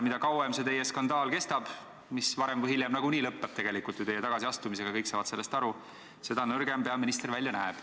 Mida kauem see teie skandaal kestab, mis varem või hiljem lõppeb nagunii ju teie tagasiastumisega, kõik saavad sellest aru, seda nõrgem peaminister välja näeb.